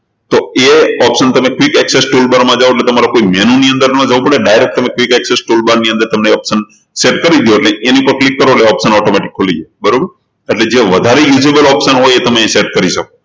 તો એ option તમે quick access toolbar માં જાવ એટલે તમારે કોઈ menu ની અંદર ન જવું પડે direct તમે quick access toolbar ની અંદર set કરી દો અને એની ઉપર click કરો એટલે એ optionautomatic ખુલી જાય બરોબર એટલે વધારે usable option હોય એ તમે set કરી શકો